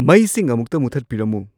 ꯃꯩꯁꯤꯡ ꯑꯃꯨꯛꯇ ꯃꯨꯊꯠꯄꯤꯔꯝꯃꯨ